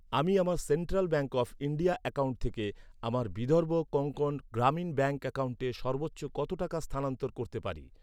আমি আমার central bank of India account থেকে আমার বিদর্ভ কোঙ্কন গ্রামীণ ব্যাঙ্ক অ্যাকাউন্টে সর্বোচ্চ কত টাকা স্থানান্তর করতে পারি?